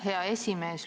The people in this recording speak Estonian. Aitäh, hea esimees!